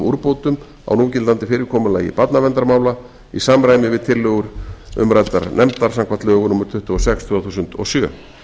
úrbótum á núgildandi fyrirkomulagi barnarverndarmála í samræmi við tillögur nefndar samkvæmt lögum númer tuttugu og sex tvö þúsund og sjö